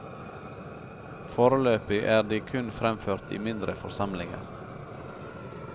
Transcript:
Foreløpig er de kun fremført i mindre forsamlinger.